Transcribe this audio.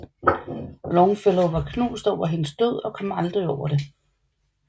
Longfellow var knust over hendes død og kom aldrig over det